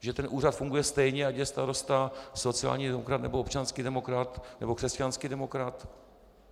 Že ten úřad funguje stejně, ať je starosta sociální demokrat, nebo občanský demokrat, nebo křesťanský demokrat?